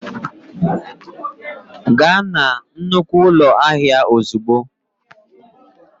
Gaa na nnukwu ụlọ ahịa ozugbo.!